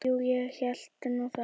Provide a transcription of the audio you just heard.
Jú, ég hélt nú það.